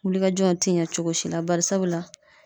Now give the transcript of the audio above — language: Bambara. Wulikajɔ in ti ɲɛ cogo si la bari sabula